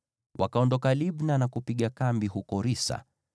Wakaondoka Libna na kupiga kambi huko Risa.